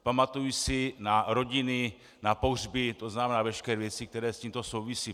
Pamatuji si na rodiny, na pohřby, to znamená veškeré věci, které s tímto souvisí.